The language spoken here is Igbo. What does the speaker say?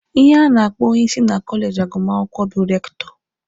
Ihe a na-akpọ onyeisi na kọleji agụmakwụkwọ bụ rektọ.